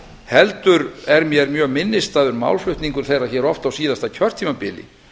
heldur er mér mjög minnisstæður málflutningur þeirra hér á síðasta kjörtímabili